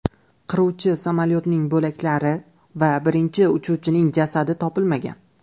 Qiruvchi samolyotning bo‘laklari va birinchi uchuvchining jasadi topilmagan.